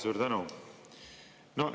Suur tänu!